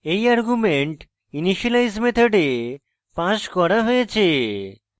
এই argument initialize method passed করা হয়েছে